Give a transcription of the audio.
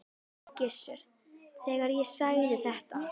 Gissur, þegar ég sagði þetta.